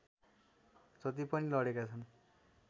जति पनि लडेका छन्